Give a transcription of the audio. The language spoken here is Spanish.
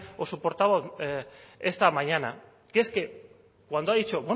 o su portavoz esta mañana que es que cuando ha dicho